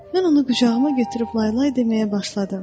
Mən onu qucağıma götürüb laylay deməyə başladım.